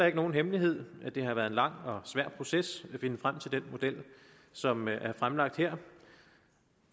ikke nogen hemmelighed at det har været en lang og svær proces at finde frem til den model som er fremlagt her